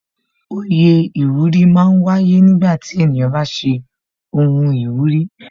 Oyè iwuri máa ń wáyé nígbà tí ènìyàn bá ṣe ohun ìwúrí